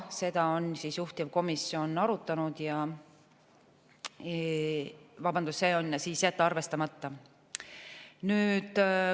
Seda on juhtivkomisjon arutanud ja otsus on jätta arvestamata.